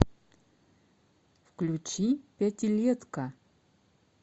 включи пятилетка